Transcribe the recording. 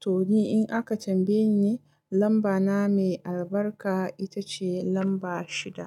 To ni in aka tambaye ni lamba na mai albarka ita ce lamba shida.